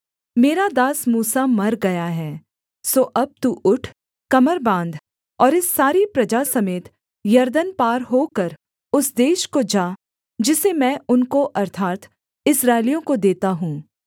मेरा दास मूसा मर गया है सो अब तू उठ कमर बाँध और इस सारी प्रजा समेत यरदन पार होकर उस देश को जा जिसे मैं उनको अर्थात् इस्राएलियों को देता हूँ